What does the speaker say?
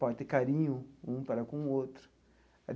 Pode ter carinho um para com o outro.